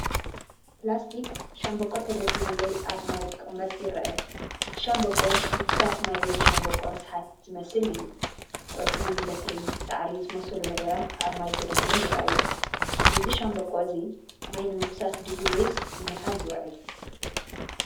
ፕላስቲክ ሻምብቆ ተደፊኡ ወይ ኣብ ማይ ክቕመጥ ይርአ። እቲ ሻምብቆ ምፍሳስ ማይ ወይ ሻምብቆ ርስሓት ዝመስል እዩ። ቆጽሊ፡ በትሪ፡ ሳዕሪ ዝመስሉ ነገራት ኣብ ማይ ተደፊኦም ይረኣዩ። እዚ ሻምብቆ እዚ ማይ ንምፍሳስ ድዩ ወይስ ንምሓዝ ዝውዕል?